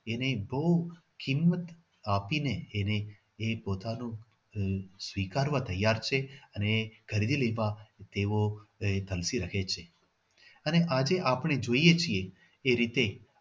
એને બહુ કિમત આપીને એને એ પોતાનો સ્વીકારવા તૈયાર છે અને ગરવી લેવા તેઓ એ તલ્ફી રહે છે અને આજે આપણે જોઈએ છીએ એ રીતે